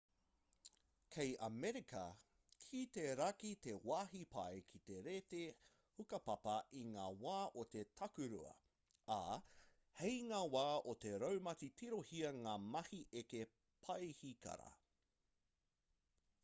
kei amerika ki te raki te wāhi pai ki te reti hukapapa i ngā wā o te takurua ā hei ngā wā o te raumati tirohia ngā mahi eke paihikara